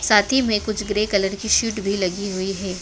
साथी में कुछ ग्रे कलर की सीट भी लगी हुई है।